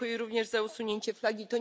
Dziękuję również za usunięcie flagi.